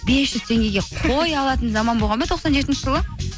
бес жүз теңгеге қой алатын заман болған ба тоқсан жетінші жылы